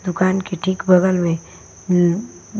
दुकान के ठीक बगल में म्मम --